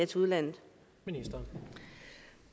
til udlandet